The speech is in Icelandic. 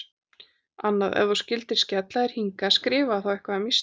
Annað: Ef þú skyldir skella þér hingað, skrifaðu þá eitthvað um Ísland.